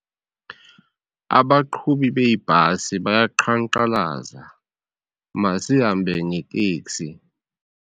Abaqhubi beebhasi bayaqhankqalaza masihambe neteksi.